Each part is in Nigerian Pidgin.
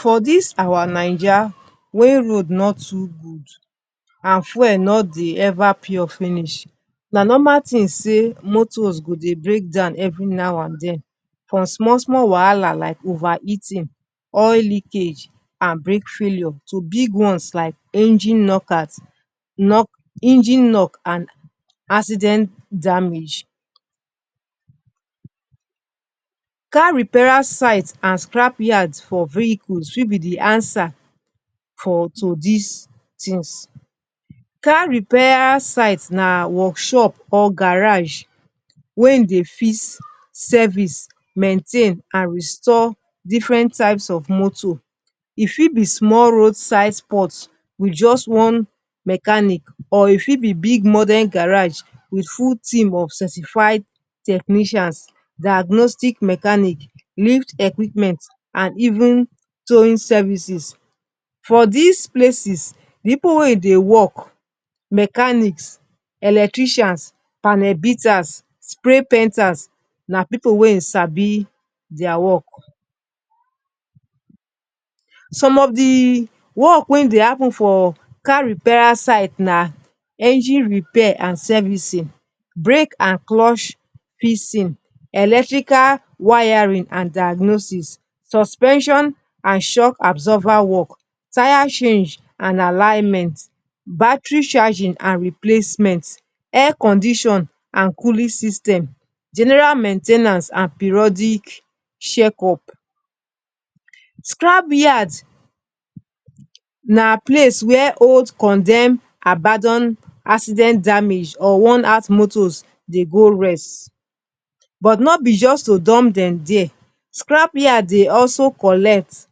For dis our Naija wey road no too good and fuel no dey ever pure finish, na normal tin say motors go dey break down evri now and din, from small small wahala like overheating, oil leakage and brake failure to big ones like engine knock and accident damage. Car repairer site and scrap yards for vehicles fit be di answer to dis tins. Car repair site na wokshop or garage wey dey fix, service, maintain and restore different types of moto. E fit be small roadside spot wit just one mechanic or e fit be big modern garage wit full team of certified technicians, diagnostic machines, mechanic lift equipment and even towing services. For dis places, pipu wey dey wok like mechanics, electricians, panel beaters and spray painters na pipu wey sabi dia wok. Some of di wok wey dey happun for car repair side na engine repair and servicing, brake and clutch fixes, electrical wiring and diagnosis, suspension and shock absorber wok, tyre change and alignment, battery charging and replacement, air condition and cooling system, general main ten ance and periodic check-up. Scrap yard na place wia old, condemned, abandoned, accident-damaged or worn-out motors dey go rest. But no be just to dump dem dire. Scrap yard dey also collect,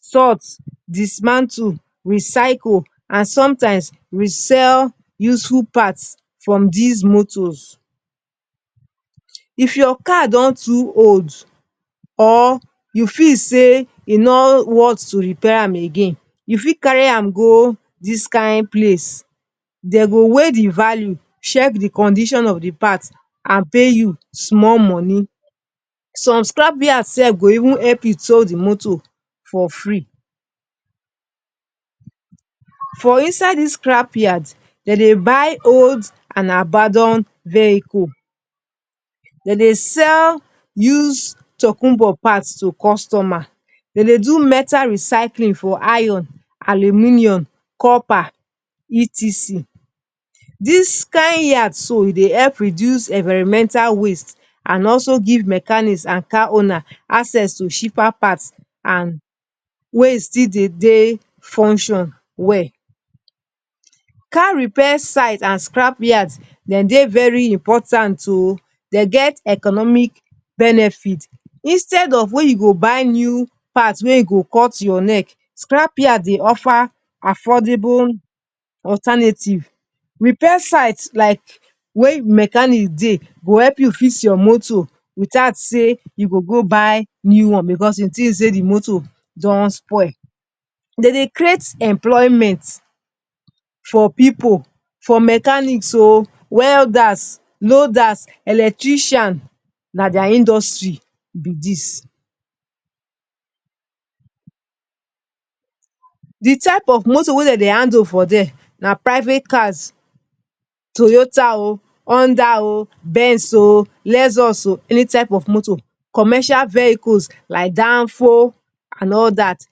sort, dismantle, recycle and somtimes resell useful parts from dis motors. If your car don too old or you feel say e no worth to repair am again, you fit carry am go dis kain place. Dem go weigh di value, check di condition of di parts and pay you small money. Some scrap yards go even help you tow di motor for free. For inside dis scrap yard, dem dey buy old and abandoned vehicle parts. Dem dey sell used tokunbo parts to customers. Dem dey also do metal recycling for iron, aluminium, copper and odas. Dis kain yard dey help reduce environmental waste and also give mechanics and car owners access to cheaper parts wey still dey function well. Car repair sites and scrapyards dey very important. Dem get economic benefit because instead of say you go buy new parts wey go cut your neck, scrap yard dey offer affordable alternative. Repair site na wia di mechanic go help you fix your motor witout say you must buy new one because you think say di motor don spoil. Dem dey create employment for pipu, for mechanics, welders, loaders, electricians. Na dia industry be dis. Di types of moto wey dem dey handle for dia na private cars like Toyota, Honda, Benz, Lexus and any type of moto. Commercial vehicles like Danfo and all that.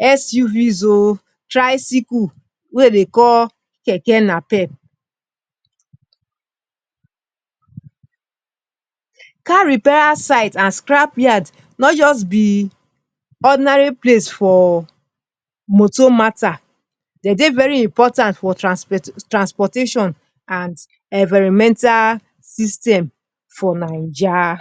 SUVs and tricycles wey dem dey call Keke Napep. Car repair site and scrap yard no just be ordinary place for motor matta. Dem dey very important for transportation and environmental system for Naija.